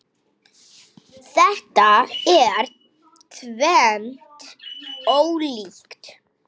Þetta er tvennt ólíkt.